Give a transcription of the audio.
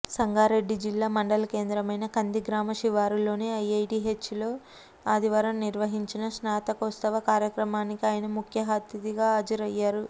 సంగారెడ్డి జిల్లా మండల కేంద్రమైన కంది గ్రామ శివారులోని ఐఐటీహెచ్లో ఆదివారం నిర్వహించిన స్నాతకోత్సవ కార్యక్రమానికి ఆయన ముఖ్యఅతిథిగా హాజరయ్యారు